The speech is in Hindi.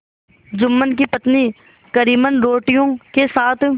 जुम्मन की पत्नी करीमन रोटियों के साथ